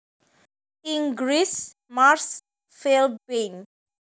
Inggris marsh fleabane